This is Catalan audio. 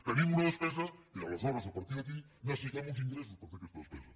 tenim una despesa i aleshores a partir d’aquí necessitem uns ingressos per fer aquesta despesa